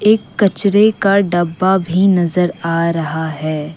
एक कचरे का डब्बा भी नजर आ रहा है।